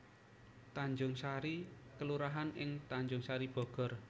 Tanjungsari kelurahan ing Tanjungsari Bogor